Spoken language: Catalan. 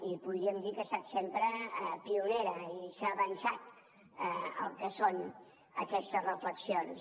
i podríem dir que ha estat sempre pioner i s’ha avançat al que són aquestes reflexions